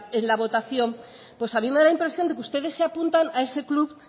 en la votación pues a mí me da la impresión de que ustedes se apuntan a ese club